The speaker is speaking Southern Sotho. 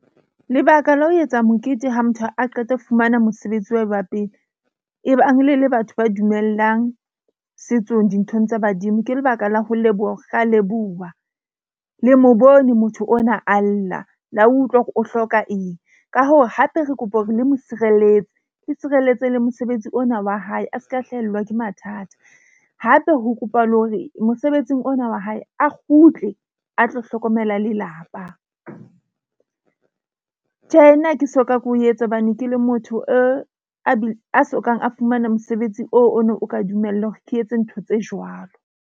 Lebaka la ho etsa mokete ha motho a qeta ho fumana mosebetsi wa hae wa pele batho ba dumellang setsong dinthong tsa badimo ke lebaka la ho leboha, re a leboha, le mo bone motho ona a lla. La utlwa hore o hloka eng. Ka hoo, hape re kopa hore le motshireletse le tshireletse le mosebetsi ona wa hae, a seka hlahelwa ke mathata. Hape ho kopa le hore mosebetsing ona wa hae, a kgutle a tlo hlokomela lelapa. Tjhe, nna ha ke soka ke o etsa hobane ke le motho a sokang a fumana mosebetsi o o no o ka dumella hore ke etse ntho tse jwalo.